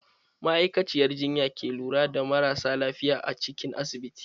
Ma'aikaciyar jinya ke lura da marasa lafiya a cikin asibiti.